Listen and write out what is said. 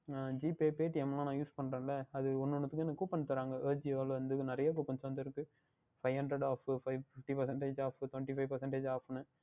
அஹ் GPay Paytm ல எல்லாம் Use பண்ணுகின்றேன் ல அது ஒன்று ஒன்றிற்கும் Coupon தருவார்கள் Ajio வில் இருந்து நிறைய வந்து இருக்கின்றது Five hundred Five Fifty percentage Off Off அஹ் Twenty five percentage Off என்று